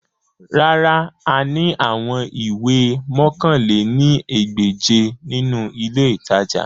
Rárà, a ni awọn iwe mọ̀kan lé ní ẹgbẹ́je ninu ile itaja